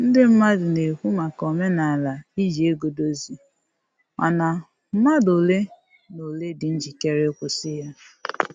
Ndị mmadụ na-ekwu maka omenala iji ego dozie, mana mmadụ ole na ole dị njikere ịkwụsị ya